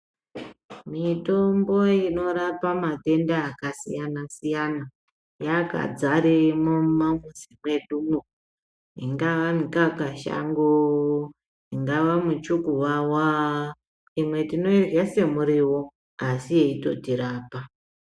Mitombo inorapa matenda aka siyana siyana yakadzaremwo mu ma muzi mwedumwo ingava mukaka shango ingava mu chukuwawa imwe tinoirya se muriwo asi yei totirapa.